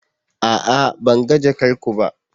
A'a! Ban ga jakar ku ba.